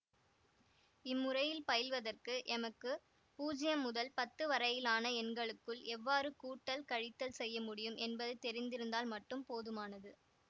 இம்முறையில் பயில்வதற்கு எமக்கு பூஜ்யம் முதல் பத்து வரையிலான எண்களுக்குள் எவ்வாறு கூட்டல் கழித்தல் செய்ய முடியும் என்பது தெரிந்திருந்தால் மட்டும் போதுமானது